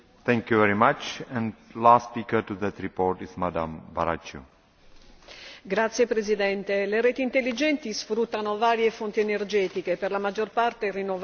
Signor Presidente, le reti intelligenti sfruttano varie fonti energetiche per la maggior parte rinnovabili e rendono varie comunità energeticamente autosufficienti.